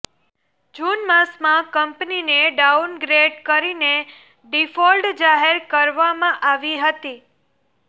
જૂન માસમાં કંપનીને ડાઉનગ્રેડ કરીને ડિફોલ્ટ જાહેર કરવામાં આવી હતી